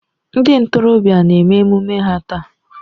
Ndị ntorobịa a na-eme emume ha taa.